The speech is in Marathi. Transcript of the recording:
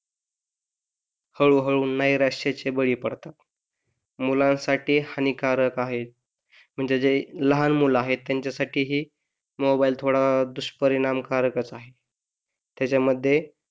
हळू हळू नैराश्याचे बळी पडतात मुलांसाठी हानिकारक आहे म्हणजे जे लहान मुले आहेत त्यांच्या साठी ही मोबाइल थोडा दुष्परिणाम कारक आहे. त्यामध्ये,